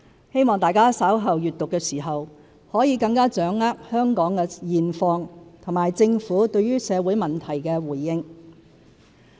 希望大家稍後閱讀的時候，可以更掌握香港的現況和政府對社會問題的回應。